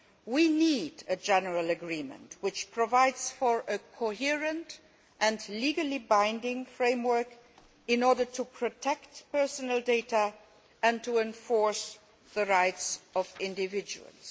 We need a general agreement which provides a coherent and legally binding framework in order to protect personal data and to enforce the rights of individuals.